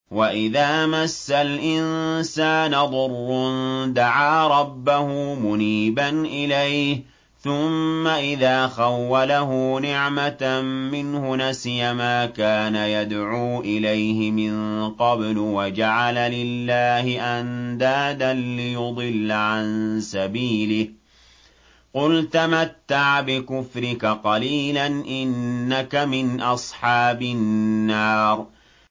۞ وَإِذَا مَسَّ الْإِنسَانَ ضُرٌّ دَعَا رَبَّهُ مُنِيبًا إِلَيْهِ ثُمَّ إِذَا خَوَّلَهُ نِعْمَةً مِّنْهُ نَسِيَ مَا كَانَ يَدْعُو إِلَيْهِ مِن قَبْلُ وَجَعَلَ لِلَّهِ أَندَادًا لِّيُضِلَّ عَن سَبِيلِهِ ۚ قُلْ تَمَتَّعْ بِكُفْرِكَ قَلِيلًا ۖ إِنَّكَ مِنْ أَصْحَابِ النَّارِ